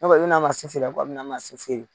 Ne kɔni n'a ma se f'u yan ko a bɛna na se f'u ye